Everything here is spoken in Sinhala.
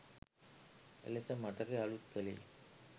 එලෙස මතකය අලූත් කළේය